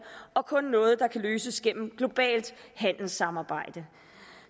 og noget der kun kan løses gennem globalt handelssamarbejde